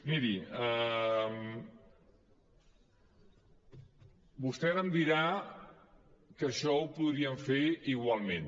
miri vostè ara em dirà que això ho podríem fer igualment